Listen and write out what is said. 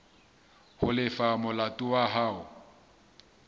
ho lefa molato wa hao